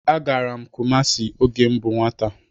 Agara m Kumasi oge m bú nwata.